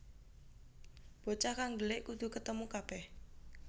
Bocah kang dhelik kudu ketemu kabèh